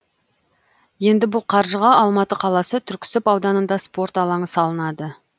енді бұл қаржыға алматы қаласы түрксіб ауданында спорт алаңы салынады